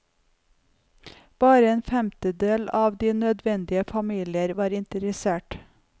Bare en femtedel av de nødvendige familier var interessert.